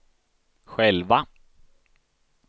själva